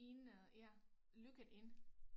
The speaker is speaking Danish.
Inde ja lukket inde